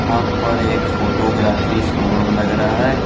हां पर एक फोटोग्राफी शोरूम लग रहा है।